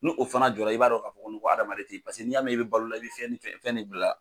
No o fana jɔ la i b'a dɔn ka fɔ ko hadamaden tɛ ye paseke n'i y'a mɛn i bɛ balo la i bɛ fiyɛn fiyɛn fiyɛn ne bila la